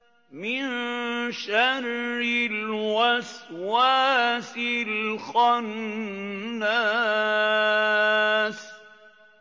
مِن شَرِّ الْوَسْوَاسِ الْخَنَّاسِ